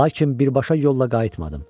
Lakin birbaşa yolla qayıtmadım.